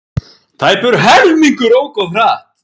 Tæpur helmingur ók of hratt